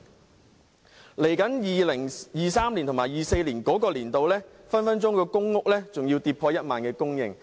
未來在 2023-2024 年度，公屋供應隨時更會跌破1萬戶。